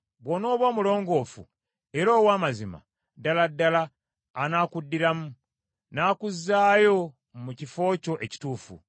bw’onooba omulongoofu era ow’amazima, ddala ddala anaakuddiramu n’akuzzaayo mu kifo kyo ekituufu.